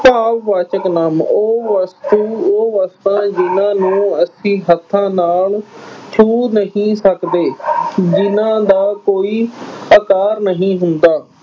ਭਾਵਵਾਚਕ ਨਾਂਵ ਉਹ ਵਸਤੂ ਉਹ ਵਸਤਾਂ ਜਿਨ੍ਹਾਂ ਨੂੰ ਅਸੀਂ ਹੱਥਾਂ ਨਾਲ ਛੂ ਨਹੀਂ ਸਕਦੇ, ਜਿੰਨ੍ਹਾਂ ਦਾ ਕੋਈ ਆਕਾਰ ਨਹੀਂ ਹੁੰਦਾ,